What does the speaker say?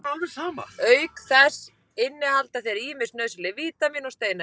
Auk þess innihalda þeir ýmis nauðsynleg vítamín og steinefni.